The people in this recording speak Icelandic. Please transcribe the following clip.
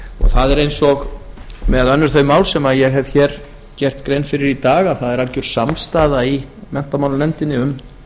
það er eins og með önnur þau mál sem ég hef hér gert grein fyrir í dag að það er algjör samstaða í menntamálanefndinni um